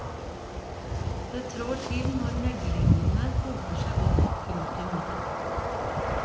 Det trår til når meglingene hoper seg opp. punktum